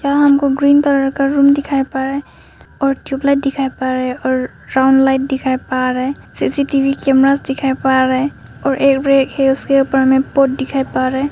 हमको green colour का room दिखाई पड़ रहा है और ट्यूबलाइट दिखाई पड़ रहा है और राउंड लाइट दिखाई पड़ रहा है सी_सी_टी_वी कैमरास दिखाई पड़ रहा है और एक के ऊपर में पोट दिखाई पड़ रहा है।